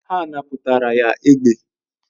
Ha napụtara ya egbe